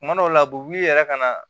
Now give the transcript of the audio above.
Kuma dɔw la u b'u yɛrɛ ka na